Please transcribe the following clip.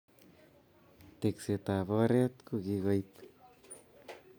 Tekset ab oret kokikoib